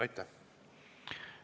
Aitäh!